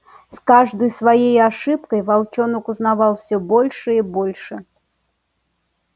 с каждой своей ошибкой волчонок узнавал всё больше и больше